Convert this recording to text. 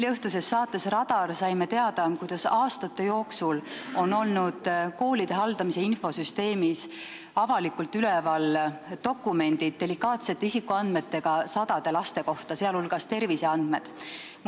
Eileõhtusest saatest "Radar" saime teada, et aastate jooksul on koolide haldamise infosüsteemis olnud avalikult üleval dokumendid delikaatsete isikuandmetega sadade laste kohta, sh laste terviseandmetega.